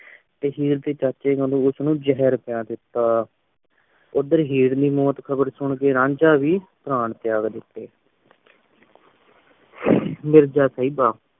ਤੇ ਹੀਰ ਦੇ ਚਾਚੇ ਨਾਲੋਂ ਉਸ ਨੂੰ ਜਹਰ ਪਿਆ ਦਿਤਾ ਓਧਰ ਹੀਰ ਦੇ ਮੌਤ ਖ਼ਬਰ ਸੁਨ ਕੇ ਰਾਂਝਾ ਵੀ ਪ੍ਰਾਣ ਤ੍ਯਾਗ ਦਿਤੇ ਮਿਰਜ਼ਾ ਸਾਹਿਬਾਂ